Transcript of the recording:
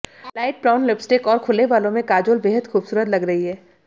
light brown lipstick और खुले बालों में काजोल बेहद खूबसूरत लग रही हैं